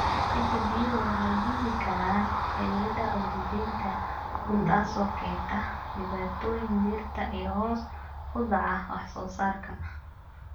Ciidda biyuhu waxay diidi karaan xididdada ogsijiinta, taasoo keenta dhibaatooyin dhirta iyo hoos u dhaca wax-soo-saarka.